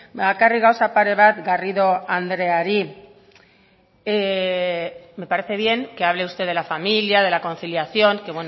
bakarrik gauza pare bat garrido andreari me parece bien que hable usted de la familia de la conciliación que